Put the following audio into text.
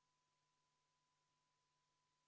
Kohalolijaks registreerus 58 Riigikogu liiget, puudub 43.